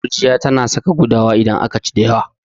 Gurjiya tana saka gudawa idan aka ci da yawa.